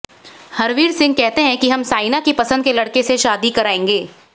हरवीर सिंह कहते हैं कि हम साइना की पसंद के लड़के से शादी कराएंगे